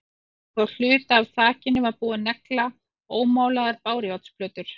Og á hluta af þakinu var búið að negla ómálaðar bárujárnsplötur.